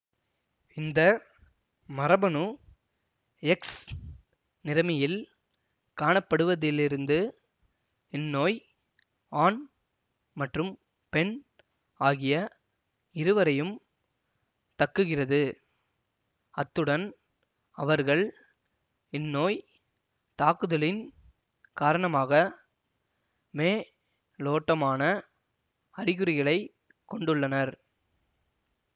இந்த மரபணு எக்ஸ் நிறமியில் காணப்படுவதிலிருந்து இந்நோய் ஆண் மற்றும் பெண் ஆகிய இருவரையும் தக்குகிறது அத்துடன் அவர்கள் இந்நோய் தாக்குதலின் காரணமாக மே லோட்டமான அறிகுறிகளைக் கொண்டுள்ளனர்